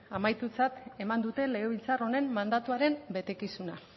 amaitutzat eman dute legebiltzar honen mandatuaren betekizuna